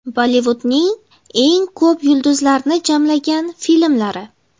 Bollivudning eng ko‘p yulduzlarni jamlagan filmlari .